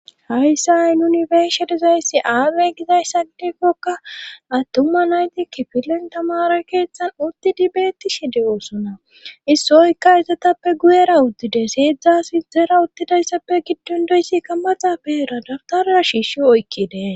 Hayssa ay nuni beeshe dizayssi aamey gizayssa gidekkoka attuma nayti kifilen tamara keeththan uttidi bettishi de7oosona issoykka izatappe guyera uddide seedzdza sidzera uttidayssappe giddon doyssikka maxa peira dabtarra shiishi oykki dee.